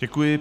Děkuji.